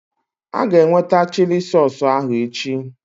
Aga eweta chili sausụ ahụ echi